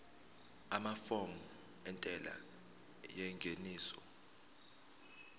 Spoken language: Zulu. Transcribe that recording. amafomu entela yengeniso